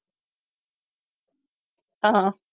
ஆஹ்